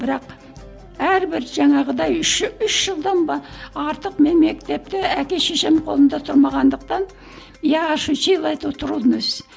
бірақ әрбір жаңағыдай үш үш жылдан ба артық мен мектепте әке шешем қолында тұрмағандықтан я ощутила эту трудность